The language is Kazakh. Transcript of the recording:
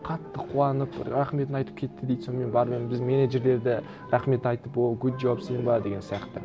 қатты қуанып рахметін айтып кетті дейді сонымен бармен біз менеджерлер де рахмет айтып о гуд джоб симба деген сияқты